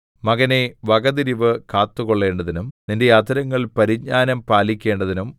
മകനേ വകതിരിവ് കാത്തുകൊള്ളേണ്ടതിനും നിന്റെ അധരങ്ങൾ പരിജ്ഞാനം പാലിക്കേണ്ടതിനും